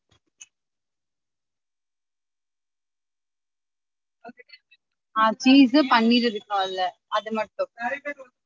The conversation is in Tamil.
ஆஹ் cheese பன்னீர் இருக்கும்ல அது மட்டும்